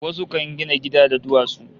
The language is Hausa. Wasu kan gina gida da duwatsu